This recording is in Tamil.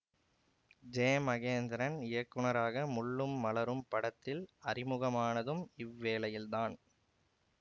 ஜேமகேந்திரன் இயக்குநராக முள்ளும் மலரும் படத்தில் அறிமுகமானதும் இவ்வேளையில்தான்